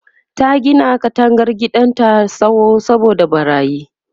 ta Gina katangar gidan da tsawo saboda ɓarayin